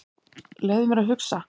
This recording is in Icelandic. Leyfðu mér að hugsa.